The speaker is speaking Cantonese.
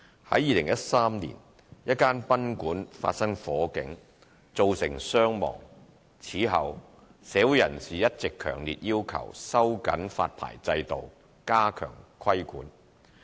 在2013年，一間賓館發生火警，造成傷亡。此後，社會人士一直強烈要求收緊發牌制度，加強規管。